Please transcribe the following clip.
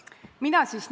Austatud peaminister!